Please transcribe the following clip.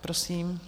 Prosím.